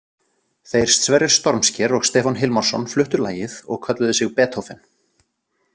Þeir Sverrir Stormsker og Stefán Hilmarsson fluttu lagið og kölluðu sig Betófen.